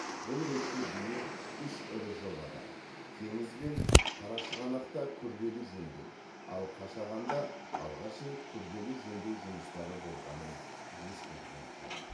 бұл ретте биыл үш ірі жобада теңіз бен қарашығанақта күрделі жөндеу ал қашағанда алғаш рет күрделі жөндеу жұмыстары болғанын ескерген жөн